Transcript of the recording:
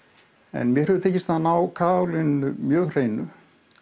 en mér hefur tekist að ná mjög hreinu